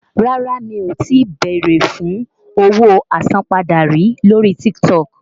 Rárá mi ò tí bèrè fún owó àsanpadà rí lórí TikTok.